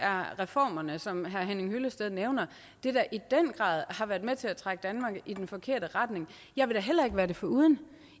er reformerne som herre henning hyllested nævner i den grad har været med til at trække danmark i den forkerte retning jeg vil da heller ikke være det foruden